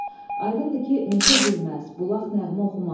Aydındır ki, meşə gülməz, bulaq nəğmə oxumaz.